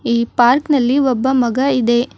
ಈ ಪಾರ್ಕ್ ನಲ್ಲಿ ಒಬ್ಬ ಮಗ ಇದೆ.